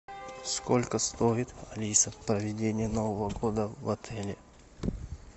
сколько стоит алиса проведение нового года в отеле